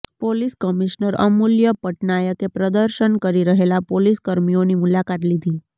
police commissioner Amulya પટનાયકે પ્રદર્શન કરી રહેલા પોલીસ કર્મીઓની મુલાકાત લીધી